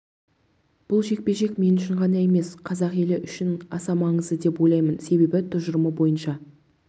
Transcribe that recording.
бұл жекпе-жек мен үшін ғана емес қазақ елі үшін аса маңызды деп ойлаймын себебі тұжырымы бойынша